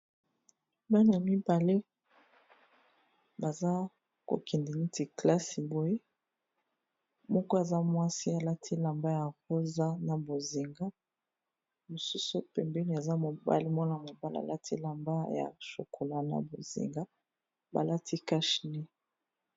Bana mibale baza ko kende neti classe boye moko aza mwasi alati elamba ya rosa, na bozinga. Mosusu pembeni aza mobali muana mobala alati elamba ya chokolat na bozinga ba lati cache nez.